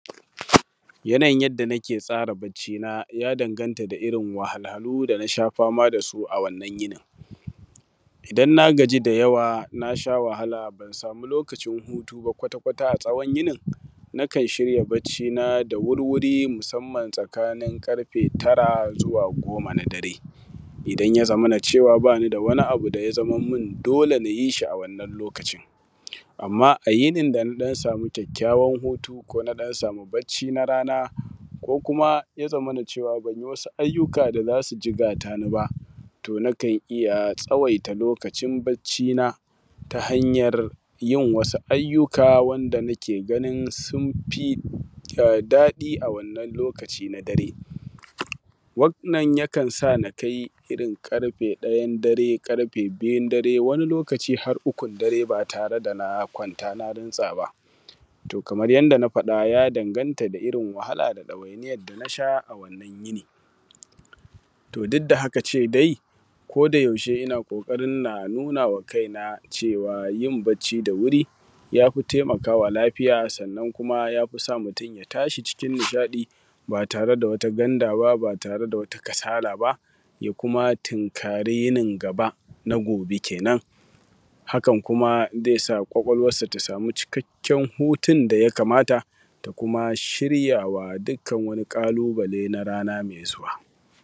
Yana yin yanda nike tsara barcina ya danganta da irin wahalhu dana sha fama dasu a wannan yinin. Idan na gaji da yawa nasha wahala ban samu lokacin hutu ba kwata kwata a tsahon yini nikan shirya barcina da wurwuri musamman tsakanin ƙarfe tara zuwa goma na dare, idan ya zamana cewa bani da wani abu da ya zama min dole nayi shi a wannan lokacin, amma a yinin dana samu kyakkyawan kuma na samu barci na rana ko kuma ya zamana cewa banyi wasu ayyuka da za su jigata ni ba to nakan iya tsawaita lokacin barcina ta hanyar yin wasu ayyuka wanda nike ganin sun fi ɗadi a wannan lokaci na dare, wannan ya kan sa na kai irin ƙarfe ɗayan dare, ƙarfe biyun dare wani lokaci har ukun dare ba tare da na kwanta na rintsa ba. To kamar yanda na faɗa ya danganta da irin wahala da dawainiyar dana sha a wannan yini. To duk da haka ce dai ko da yaushe ina ƙoƙarin na nunawa kaina cewa yim barci da wuri yafi taimakawa lafiya sannan kuma ya fi sa mutum ya tashi cikin nishaɗi ba tare da wata kasala ba, ya kuma tinkari yinin gaba na gobe kenen. Hakan kuma zai sa kwakwalwarsa ta samu cikakken hutun daya kamata ta kuma shiryawa dukkanın wani ƙalubale na rana mai zuwa.